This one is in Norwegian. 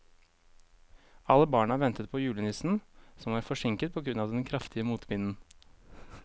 Alle barna ventet på julenissen, som var forsinket på grunn av den kraftige motvinden.